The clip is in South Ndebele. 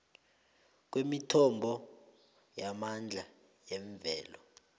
kwemithombo yamandla yemvelo